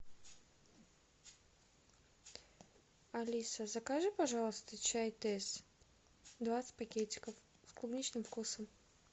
алиса закажи пожалуйста чай тесс двадцать пакетиков с клубничным вкусом